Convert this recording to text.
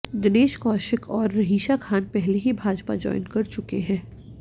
दिनेश कौशिक और रहीशा खान पहले ही भाजपा ज्वाइन कर चुके हैं